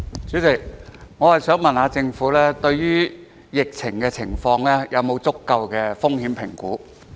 主席，我想問政府對於疫情是否有足夠的風險評估？